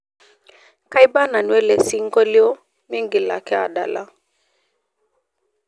kaiba nanu ele singolio miingil ake adala